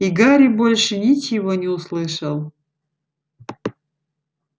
и гарри больше ничего не услышал